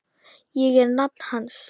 Ég er nafni hans.